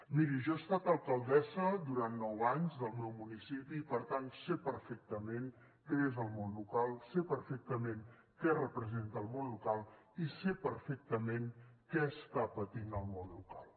miri jo he estat alcaldessa durant nou anys del meu municipi i per tant sé perfectament què és el món local sé perfectament què representa el món local i sé perfectament què està patint el món local